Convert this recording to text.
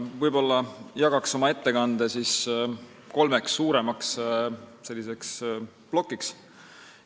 Ma jagan oma ettekande kolmeks suuremaks plokiks.